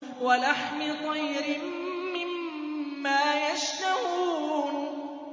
وَلَحْمِ طَيْرٍ مِّمَّا يَشْتَهُونَ